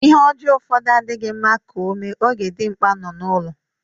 lhe ojoo ufodu adighi rnrna ka o mee oge dirnkpa no n'ulo.